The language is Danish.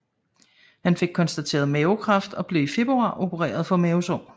Han fik konstateret mavekræft og blev i februar opereret for mavesår